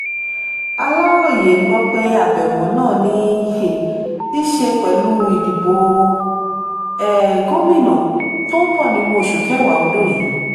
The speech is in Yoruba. aláròye gbọ́ pé àbẹ̀wò náà ní um í ṣe pẹ̀lú ìdìbò um gómìnà tó ń bọ̀ nínú oṣù kẹwàá ọdún yìí